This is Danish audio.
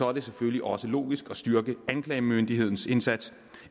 er det selvfølgelig også logisk at styrke anklagemyndighedens indsats